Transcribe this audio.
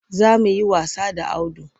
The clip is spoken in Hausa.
Za mu yi wasa da Audu.